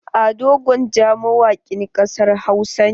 Ado gwanja mawakin ƙasar Hausa ne.